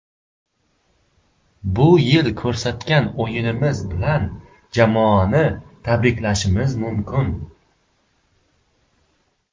Bu yilda ko‘rsatgan o‘yinimiz bilan jamoani tabriklashimiz mumkin.